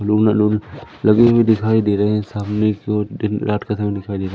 balloon वलून लगे हुए दिखाई दे रहे हैं सामने की ओर दिन रात का समय दिखाई दे रहा--